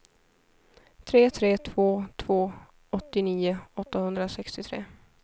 tre tre två två åttionio åttahundrasextiotre